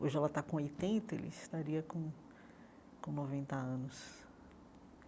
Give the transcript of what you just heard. Hoje ela está com oitenta, ele estaria com com noventa anos.